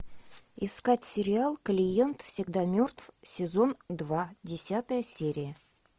искать сериал клиент всегда мертв сезон два десятая серия